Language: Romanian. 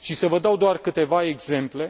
O să vă dau doar câteva exemple.